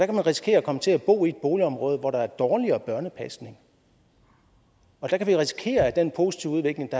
man risikere at komme til at bo i et boligområde hvor der er dårligere børnepasning og der kan vi risikere at den positive udvikling